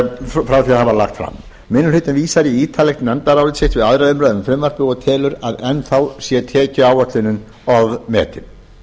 frá því að það var lagt fram minni hlutinn vísar í ítarlegt nefndarálit sitt við aðra umræðu um frumvarpið og telur að enn sé tekjuáætlunin ofmetin